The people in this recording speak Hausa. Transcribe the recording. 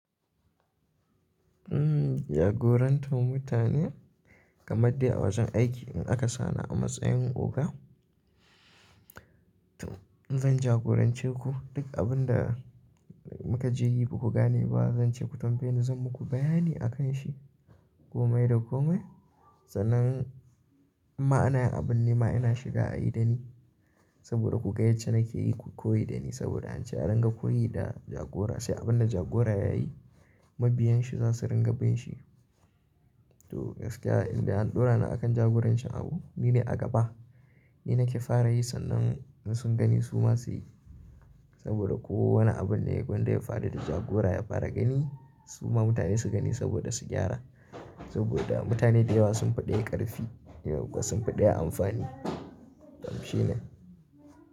Jagorantar mutane kamar dai a wajen aiki in aka sa ni a matsayin oga, zan jagorance ku duk abin da muka je yi ku ku gane ba, zan ce ku tambaye ni zan muku bayani a kan shi komai da komai. Sanan ma'anayin abun ne ma ina shiga a yi da ni saboda ku ga yace nake yi ku koyi da ni saboda an ce a ranga koyi da jagora. Sai abin da jagora ya yi mabiyan shi za su ringa bin shi. To gaskiya inda an ɗora ni a kan jagorancin abu ni ne a gaba. Ni nake fara yi sannan in sun gani su ma su yi saboda kowane abun da ya gonda ya faɗi da jagora ya fara gani su ma mutane su gani saboda su gyara. Saboda mutane da yawa sun faɗi ƙarfi, dayawa kuwa sun faɗi amfani. Kamshi ne.